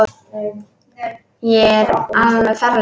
Ég er alveg ferleg.